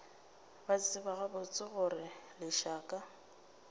ba tseba gabotse gore lešaka